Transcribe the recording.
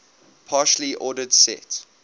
partially ordered set